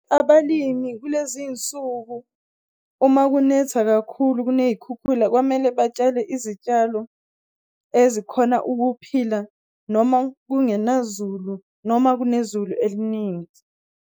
Abalimi kulezinsuku uma kunetha kakhulu kuney'khukhula kwamele batshale izitshalo ezikhona ukuphila noma kungena zulu noma kunezulu elininzi.